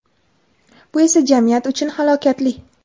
bu esa jamiyat uchun halokatli.